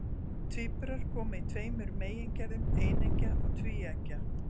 Tvíburar koma í tveimur megingerðum, eineggja og tvíeggja.